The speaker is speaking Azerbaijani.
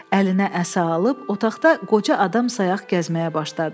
Əlinə əsa alıb otaqda qoca adam sayaq gəzməyə başladı.